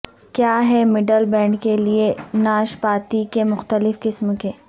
کیا ہیں middle band کے لئے ناشپاتی کے مختلف قسم کے